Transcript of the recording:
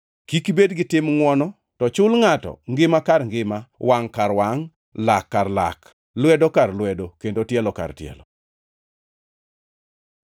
Kik ibed gi tim ngʼwono, to chul ngʼato ngima kar ngima, wangʼ kar wangʼ, lak kar lak, lwedo kar lwedo, kendo tielo kar tielo.